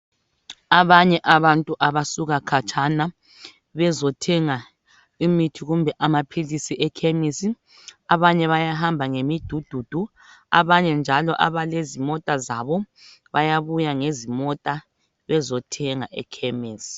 abanye abantu abasuka khatshana bezothenga imithi kumbe amaphilisi ekhemesi abanye bayahamba ngemidududu abanye njalo abalezimota zabo bayabuya ngezimota bezothenga ekhemesi